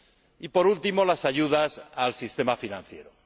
Y, por último, las ayudas al sistema financiero.